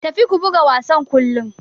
Tafi ku buga wassan kollon.